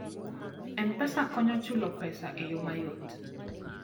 M-Pesa konyo chulo pesa e yo mayot.